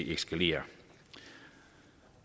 eskalere